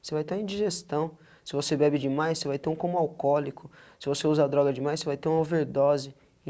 Você vai estar em digestão, se você bebe demais, você vai ter um coma alcoólico, se você usa a droga demais, você vai ter uma overdose.